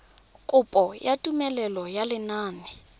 kopo ya tumelelo ya lenane